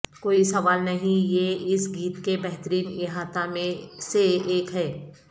کوئی سوال نہیں یہ اس گیت کے بہترین احاطہ میں سے ایک ہے